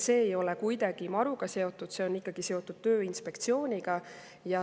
See ei ole kuidagi MaRu‑ga seotud, see on ikkagi seotud Tööinspektsiooniga.